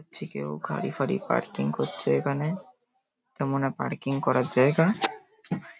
হচ্ছে কেউ গাড়ি ফাড়ি পার্কিং করছে এখানে। এটা মনে হয় পার্কিং করার জায়গা।